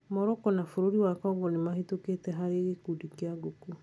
Morocco na bũrũri wa Congo nĩmahĩtukĩte harĩ gĩkundi kĩu gũkũ